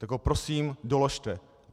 Tak ho prosím doložte.